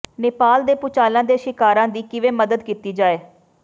ਨੇਪਾਲ ਦੇ ਭੁਚਾਲਾਂ ਦੇ ਸ਼ਿਕਾਰਾਂ ਦੀ ਕਿਵੇਂ ਮਦਦ ਕੀਤੀ ਜਾਏ